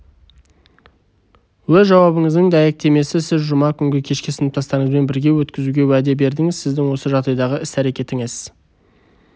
өз жауабыңыздың дәйектемесі сіз жұма күнгі кешті сыныптастарыңызбен бірге өткізуге уәде бердіңіз сіздің осы жағдайдағы іс-әрекетіңіз